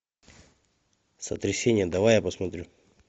сотрясение давай я посмотрю